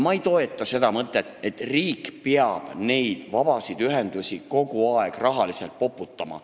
Ma ei toeta seda mõtet, et riik peab neid vabasid ühendusi kogu aeg rahaliselt poputama.